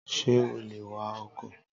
Can you drive a car?